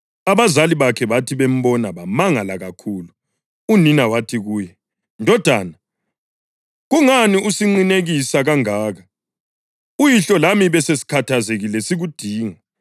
Abazali bakhe bathi bembona bamangala kakhulu. Unina wathi kuye, “Ndodana, kungani usinqinekisa kangaka? Uyihlo lami besesikhathazekile sikudinga.”